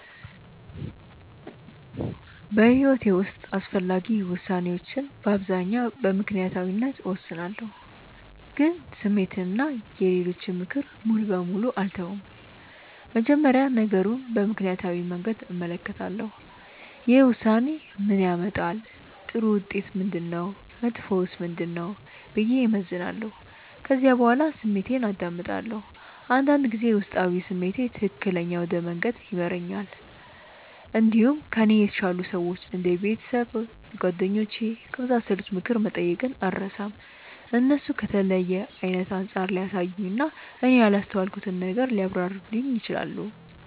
በሕይወቴ ውስጥ አስፈላጊ ውሳኔዎችን በአብዛኛው በምክንያታዊነት እወስናለሁ፣ ግን ስሜትን እና የሌሎችን ምክር ሙሉ በሙሉ አልተውም። መጀመሪያ ነገሩን በምክንያታዊ መንገድ እመለከታለሁ። ይህ ውሳኔ ምን ያመጣል? ጥሩ ውጤቱ ምንድነው? መጥፎውስ ምንድነው? ብዬ እመዝናለሁ። ከዚያ በኋላ ስሜቴን አዳምጣለሁ። አንዳንድ ጊዜ ውስጣዊ ስሜት ትክክለኛ ወደ መንገድ ይመራል። እንዲሁም ከእኔ የተሻሉ ሰዎች እንደ ቤተሰብ፣ ጓደኞች ከመሳሰሉት ምክር መጠየቅን አልርሳም። እነሱ ከተለየ አይነት አንጻር ሊያሳዩኝ እና እኔ ያላስተዋልኩትን ነገር ሊያብራሩልኝ ይችላሉ።